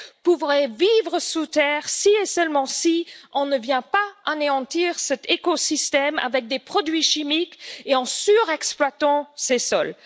peuvent vivre sous terre si, et seulement si, on ne vient pas anéantir cet écosystème avec des produits chimiques et en surexploitant ces sols.